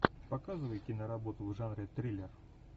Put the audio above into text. показывай киноработу в жанре триллер